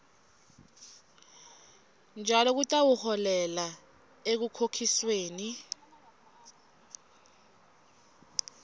njalo kutawuholela ekukhokhisweni